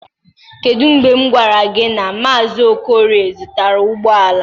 Kedu mgbe m gwara gị na Mazị Okorie zụtara ụgbọ ala?